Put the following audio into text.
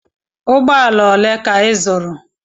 Ụgbọala ole ka ị zụrụ?